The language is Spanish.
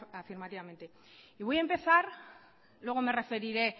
afirmativamente y voy a empezar luego me referiré